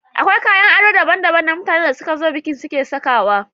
Akwai kayan ado daban-daban na mutanen da suka zo bikin suke sawa.